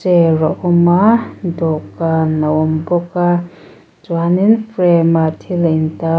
chair a awm a dawhkan a awm bawk a chuan in frame ah thil a in tar--